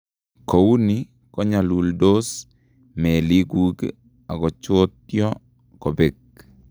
Kouuni konyaluldos meelikuk akochootyo kobek